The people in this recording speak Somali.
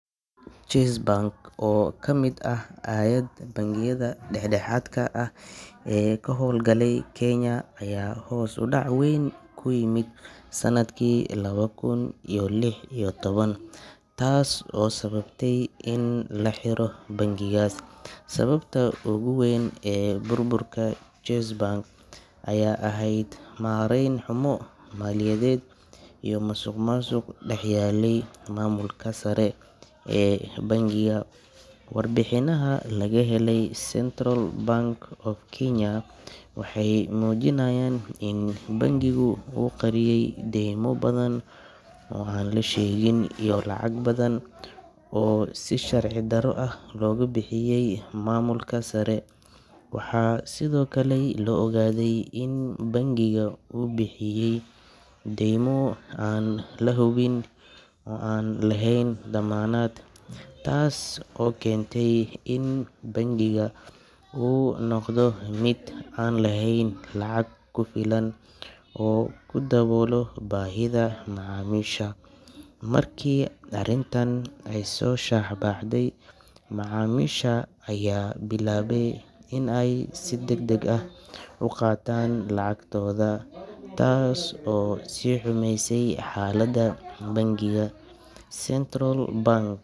Chase Bank oo ka mid ahayd bangiyada dhexdhexaadka ah ee ka howlgalayay Kenya ayaa hoos u dhac weyn ku yimid sanadkii laba kun iyo lix iyo toban, taas oo sababtay in la xiro bangigaas. Sababta ugu weyn ee burburka Chase Bank ayaa ahayd maarayn xumo maaliyadeed iyo musuqmaasuq dhex yaallay maamulka sare ee bangiga. Warbixinaha laga helay Central Bank of Kenya waxay muujinayaan in bangigu uu qariyay deymo badan oo aan la sheegin iyo lacag badan oo si sharci darro ah loogu bixiyay maamulka sare. Waxaa sidoo kale la ogaaday in bangiga uu bixiyay deymo aan la hubin oo aan lahayn dammaanad, taas oo keentay in bangiga uu noqdo mid aan lahayn lacag ku filan oo uu ku daboolo baahida macaamiisha. Markii arrintan ay soo shaac baxday, macaamiisha ayaa bilaabay in ay si degdeg ah u qaataan lacagtooda, taas oo sii xumaysay xaaladda bangiga. Central Bank.